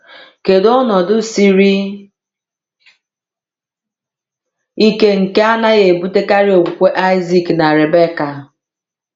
Kedu ọnọdụ siri ike nke anaghị ebutekarị okwukwe Isaac na Rebekah?